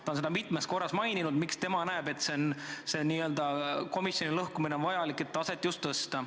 Ta on mitmel korral maininud, miks tema näeb, et selle komisjoni n-ö lõhkumine on vajalik – just et taset tõsta.